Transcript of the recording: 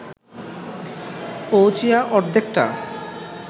পৌঁছিয়া অর্ধেকটা